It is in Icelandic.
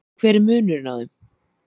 En hver er munurinn á þeim?